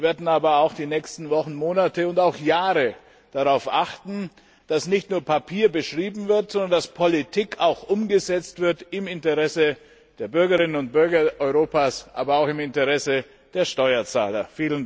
Wir werden aber auch die nächsten Wochen, Monate und Jahre darauf achten, dass nicht nur Papier beschrieben wird, sondern dass Politik auch umgesetzt wird im Interesse der Bürgerinnen und Bürger Europas sowie im Interesse der Steuerzahler.